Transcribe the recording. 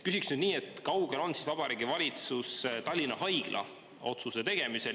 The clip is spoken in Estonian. Küsin nüüd nii: kui kaugel on Vabariigi Valitsus Tallinna Haigla kohta otsuse tegemisel?